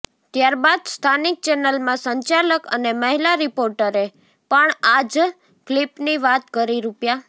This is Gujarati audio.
ત્યારબાદ સ્થાનિક ચેનલના સંચાલક અને મહિલા રીપોર્ટરે પણ આ જ ક્લિપની વાત કરી રૂ